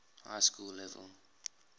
high school level